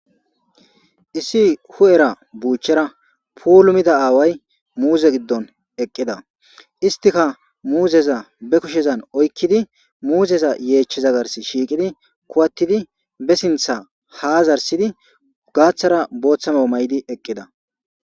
issi hu7era buuchera pulumida aaway muuze giddon eqqida istika muuzeza be kushezan oykkidi muuzeza yeecheza gars shiiqidi kuwattidi be sintha ha zarsidi gaaththara booththama may7di eqqida